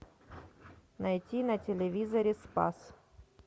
найти на телевизоре спас